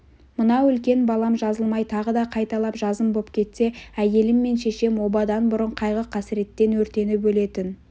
мынау үлкен балам жазылмай тағы да қайталап жазым боп кетсе әйелім мен шешем обадан бұрын қайғы-қасіреттен өртеніп өлетін